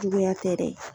Juguya tɛ dɛ